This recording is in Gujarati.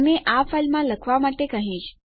અને હું આ ફાઇલમાં લખવા માટે કહીશ